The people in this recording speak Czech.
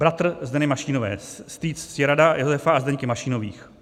Bratr Zdeny Mašínové, strýc Ctirada, Josefa a Zdenky Mašínových.